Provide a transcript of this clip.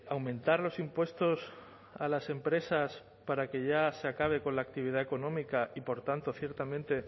aumentar los impuestos a las empresas para que ya se acabe con la actividad económica y por tanto ciertamente